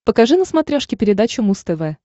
покажи на смотрешке передачу муз тв